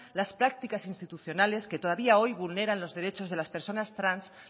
las prácticas institucionales que todavía hoy vulneran los derechos de las personas trans